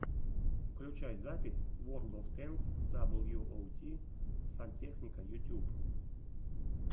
включай запись ворлд оф тэнкс даблюоути сантехника ютьюб